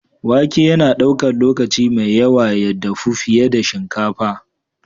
Wake yana ɗaukar lokaci mai yawa ya dafu fiye da shinkafa.